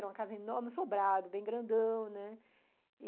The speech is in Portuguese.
Era uma casa enorme, sobrada, bem grandão, né?